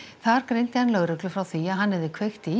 þar greindi hann lögreglu frá því að hann hefði kveikt í